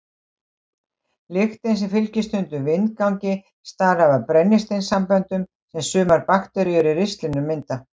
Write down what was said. Lyktin sem fylgir stundum vindgangi stafar af brennisteinssamböndum sem sumar bakteríur í ristlinum mynda.